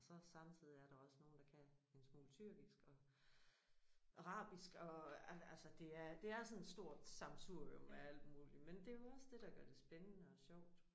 Og så samtidig er der også nogen der kan en smule tyrkisk og arabisk og altså det er sådan et stort sammensurium af alt muligt men det jo også det der gør det spændende og sjovt